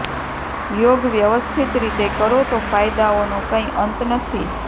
યોગ વ્યવસ્થિત રીતે કરો તો ફાયદાઓનો કંઇ અંત નથી